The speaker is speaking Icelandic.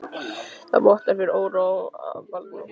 Það vottar fyrir óró eða bældum kvíða í fasi hennar.